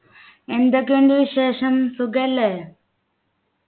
എന്തൊക്കെ ഉണ്ട് വിശേഷം സുഖല്ലേ